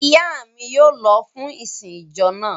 Ìyá mi yóò lọ fún ìsìn ìjọ náà.